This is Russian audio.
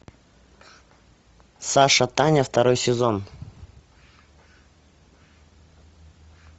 саша таня второй сезон